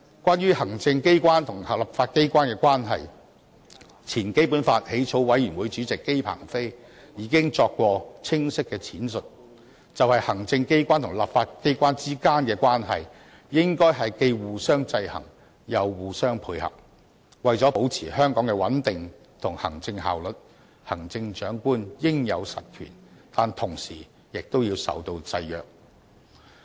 關於行政機關和立法機關的關係，前基本法起草委員會主席姬鵬飛已清晰闡釋，"行政機關和立法機關之間的關係，應該是既互相制衡又互相配合；為了保持香港的穩定和行政效率，行政長官應有實權，但同時也要受到制約"。